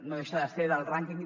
no deixa de ser del rànquing